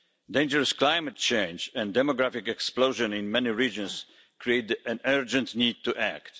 Dangerous climate change and the demographic explosion in many regions create an urgent need to act.